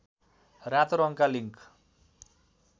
रातो रङका लिङ्क